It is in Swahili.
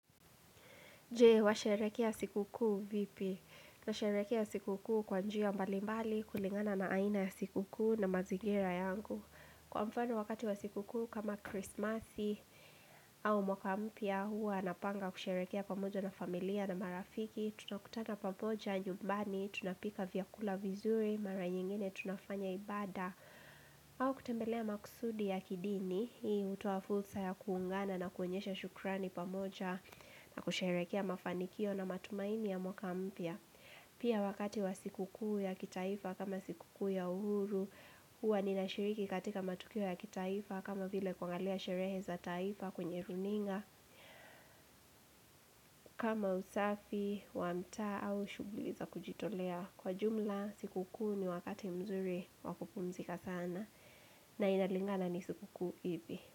Je, washerehekea siku kuu vipi? Na sherekea siku kuu kwa njia mbalimbali kulingana na aina ya siku kuu na mazigira yangu. Kwa mfano wakati wa siku kuu kama kirisimasi au mwaka mpya hua napanga kusherehekea pamoja na familia na marafiki. Tutakutana pampoja nyumbani, tunapika vyakula vizuri, mara nyingine tunafanya ibada. Au kutembelea makusudi ya kidini, hii hutoa fulsa ya kuungana na kuonyesha shukrani pamoja na kusherehekea mafanikio na matumaini ya mwaka mpya pia wakati wa siku kuu ya kitaifa kama siku kuu ya uhuru huwa ninashiriki katika matukio ya kitaifa kama vile kuangalia sherehe za taifa kwenye runinga kama usafi, wanta au shughuli za kujitolea kwa jumla siku kuu ni wakati mzuri wa kupumzika sana na inalingana ni siku kuu ipi.